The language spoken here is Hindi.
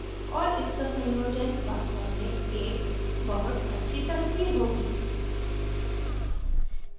और इसका संयोजन वास्तव में एक बहुत अच्छी तस्वीर होगी